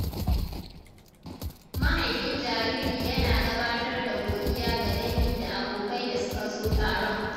Mahaifin jariri yana gabatar da godiya ga dangi da abokai da suka zo taron.